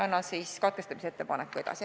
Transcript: Annan katkestamise ettepaneku edasi.